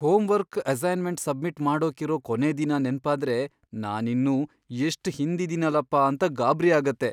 Homework assignment submit ಮಾಡೋಕಿರೋ ಕೊನೇ ದಿನ ನೆನ್ಪಾದ್ರೆ ನಾನಿನ್ನೂ ಎಷ್ಟ್ ಹಿಂದಿದಿನಲಪ್ಪ ಅಂತ ಗಾಬ್ರಿ ಆಗತ್ತೆ.